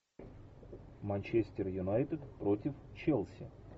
манчестер юнайтед против челси